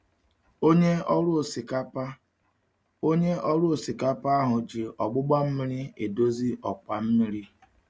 Onye ọrụ osikapa Onye ọrụ osikapa ahụ ji ogbugba mmiri edozi ọkwa mmiri.